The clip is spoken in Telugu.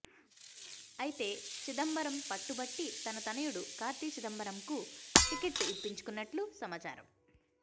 అయితే చిదంబరం పట్టుబట్టి తన తనయుడు కార్తి చిదంబరంకు టిక్కెట్ ఇప్పించుకున్నట్లు సమాచారం